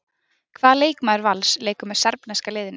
Hvaða leikmaður Vals leikur með serbneska liðinu?